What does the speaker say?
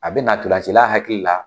A bɛna ntolancila hakili la